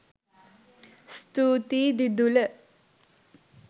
ස්තුතියි දිදුල